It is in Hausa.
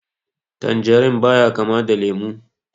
Tanjerin ya ba kama da lemu